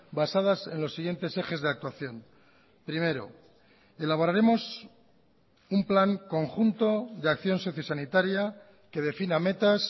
basadas en los siguientes ejes de actuación primero elaboraremos un plan conjunto de acción sociosanitaria que defina metas